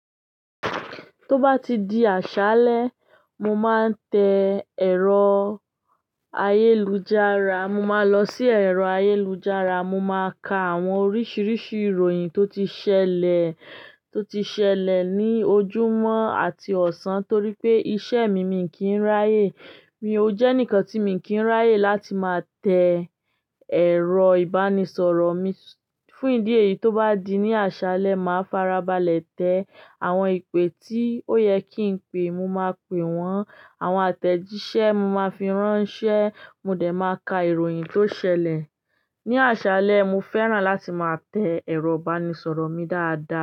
Tó bá ti di àṣálẹ́, mo máa ń tẹ ẹ̀rọ ayélujára, mo máa lọ sí ẹ̀rọ ayélujára, mo máa ka àwọn oríṣiríṣi ìròyìn tó ti ṣẹlẹ̀, tó ti ṣẹlẹ̀ ní ojúmọ́ àti ọ̀sán torí pé iṣẹ́ mi mi kì ń ráyè. Mi ò jẹ́ nǹkan tí mi kì ń ráyè láti máa tẹ ẹ̀rọ ìbánisọ̀rọ̀ mi. Fún ìdí èyí, tó bá di ní àṣálẹ́, màá farabalẹ̀ tẹ àwọn ìpè tí ó yẹ kí n pe, mo máa pè wọ́n, àwọn àtẹ̀jíṣẹ́ mo máa fi ránṣẹ́, mo dẹ̀ máa ka ìròyìn tó ṣẹlẹ̀. Ni àṣálẹ́, mo fẹ́ràn láti máa tẹ ẹ̀rọ ìbánisọ̀rọ̀ mi dáadáa.